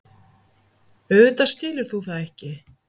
Auðvitað skilur þú það ekki.